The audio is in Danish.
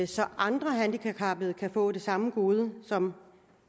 så andre handicappede kan få det samme gode som